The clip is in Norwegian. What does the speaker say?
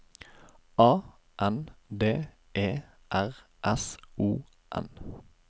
A N D E R S O N